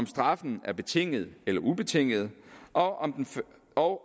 straffen betinget eller ubetinget og og